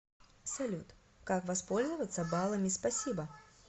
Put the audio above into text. салют как воспользоваться балами спасибо